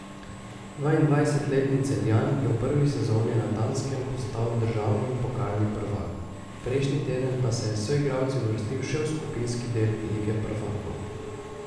Dvaindvajsetletni Celjan je v prvi sezoni na Danskem postal državni in pokalni prvak, prejšnji teden pa se je s soigralci uvrstil še v skupinski del lige prvakov.